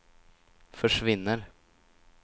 försvinner